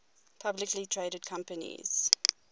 publicly traded companies